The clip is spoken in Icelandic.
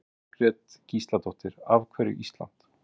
Jóhanna Margrét Gísladóttir: Af hverju Ísland?